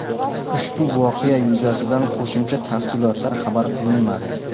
Ushbu voqea yuzasidan qo‘shimcha tafsilotlar xabar qilinmadi.